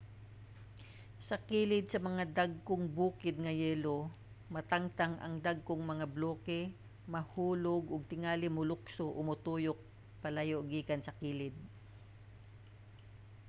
sa kilid sa mga mga dagkong bukid nga yelo matangtang ang dagkong mga bloke mahulog ug tingali molukso o motuyok palayo gikan sa kilid